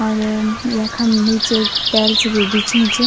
और यम यखम नीचे टेल्स भी बिछीं च।